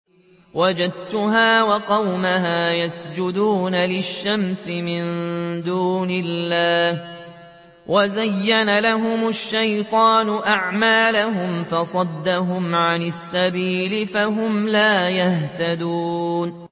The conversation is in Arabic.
وَجَدتُّهَا وَقَوْمَهَا يَسْجُدُونَ لِلشَّمْسِ مِن دُونِ اللَّهِ وَزَيَّنَ لَهُمُ الشَّيْطَانُ أَعْمَالَهُمْ فَصَدَّهُمْ عَنِ السَّبِيلِ فَهُمْ لَا يَهْتَدُونَ